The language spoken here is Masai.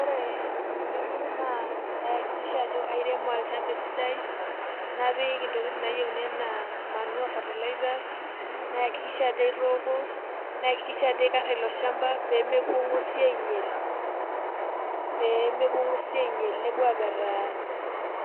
Ore eng'eno naa paaikikisha ajo airemo olchamba esidai napik intokitin naayieuni enaa manure fertilizers , naiakikisha ajo aitooko, naiakikisha ajo aikarra ilo shamba pee mepuo ing'uesi ainyial, npeuo